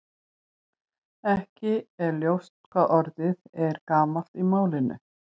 Ekki er ljóst hvað orðið er gamalt í málinu.